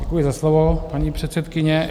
Děkuji za slovo, paní předsedkyně.